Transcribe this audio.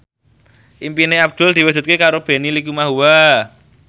impine Abdul diwujudke karo Benny Likumahua